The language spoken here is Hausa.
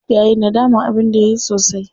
Yayi nadaman abin da yayi sosai.